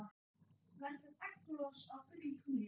Verður egglos á fullu tungli?